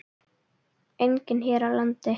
Einnig hér á landi.